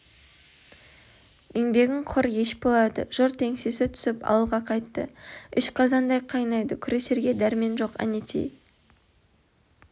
еңбегің құр еш болады жұрт еңсесі түсіп ауылға қайтты іш қазандай қайнайды күресерге дәрмен жоқ әнетей